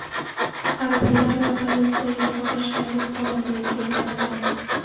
harbiylar va politsiya yuqori shaylik holatiga keltirilgan.